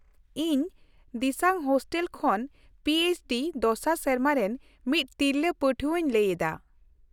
ᱤᱧ ᱫᱤᱥᱟᱝ ᱦᱳᱥᱴᱮᱞ ᱠᱷᱚᱱ ᱯᱤ ᱮᱭᱤᱪ ᱰᱤ ᱒ ᱫᱚᱥᱟᱨ ᱥᱮᱨᱢᱟ ᱨᱮᱱ ᱢᱤᱫ ᱛᱤᱨᱞᱟᱹ ᱯᱟᱹᱴᱷᱣᱟᱹᱧ ᱞᱟᱹᱭ ᱮᱫᱟ ᱾